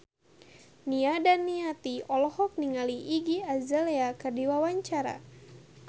Nia Daniati olohok ningali Iggy Azalea keur diwawancara